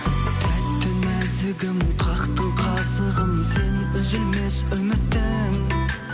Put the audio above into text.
тәттім нәзігім қақтың қазығын сен үзілмес үмітім